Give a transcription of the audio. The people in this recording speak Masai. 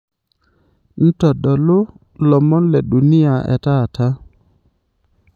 ntodolu lomon le dunia etaata